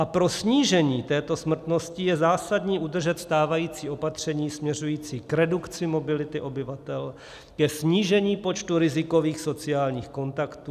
A pro snížení této smrtnosti je zásadní udržet stávající opatření směřující k redukci mobility obyvatel, k snížení počtu rizikových sociálních kontaktů.